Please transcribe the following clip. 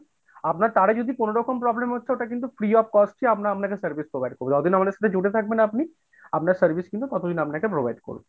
আপনার তারে যদি কোনো রকম problem হচ্ছে ওটা কিন্তু free of cost এ আমরা আপনাকে service provide করবো, যতদিন আমাদের সাথে জুড়েথাকবেন আপনি, আপনার service কিন্তু ততদিন আমরা provide করবো।